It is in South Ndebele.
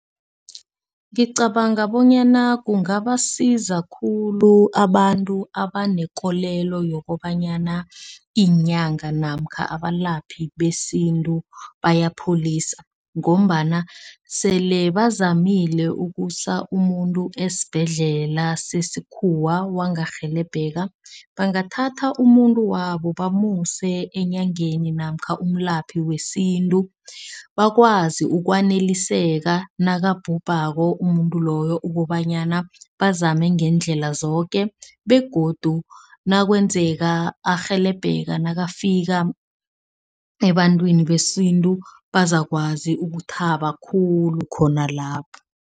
Ngicabanga bonyana kungabasiza khulu abantu abanekolelo yokobanyana, inyanga namkha abalaphi besintu bayapholisa ngombana sele bazamile ukusa umuntu esibhedlela sesikhuwa wangarhelebheka. Bangathatha umuntu wabo bamuse eenyangeni namkha umlaphi wesintu. Bakwazi ukwaneliseka nakabhubhako umuntu loyo, ukobanyana bazame ngeendlela zoke begodu nakwenzeka arhelebheka nakafika ebantwini besintu bazakwazi ukuthaba khulu khona lapho.